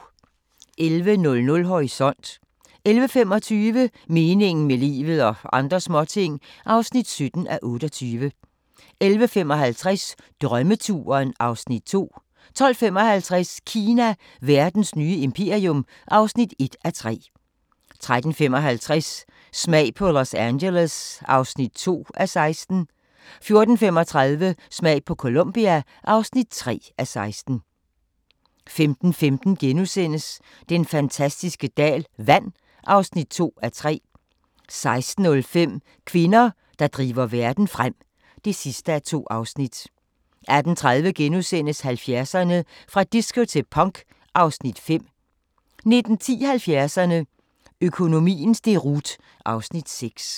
11:00: Horisont 11:25: Meningen med livet – og andre småting (17:28) 11:55: Drømmeturen (Afs. 2) 12:55: Kina – verdens nye imperium (1:3) 13:55: Smag på Los Angeles (2:16) 14:35: Smag på Colombia (3:16) 15:15: Den fantastiske dal – vand (2:3)* 16:05: Kvinder, der driver verden frem (2:2) 18:30: 70'erne: Fra disco til punk (Afs. 5)* 19:10: 70'erne: Økonomiens deroute (Afs. 6)